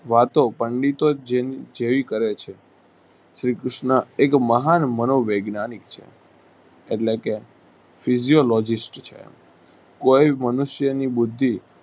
વાતો પંડિતો જેમ જેવી કરેછે શ્રી કૃષ્ણ એક મહાન માનો વૈજ્ઞાનિક છે એટલે કે physiologist છે. કોઈ મનુષ્યની બુદ્ધિ